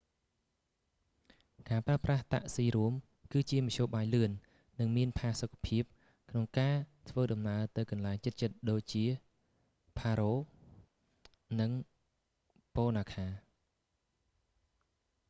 ការប្រើប្រាស់តាក់ស៊ីរួម គឺជាមធ្យោបាយលឿន និងមានផាសុកភាព ក្នុងការធ្វើដំណើរទៅកន្លែងជិតៗដូចជាផារ៉ូ paro nu 150 និង ពូណាខា punakha nu 200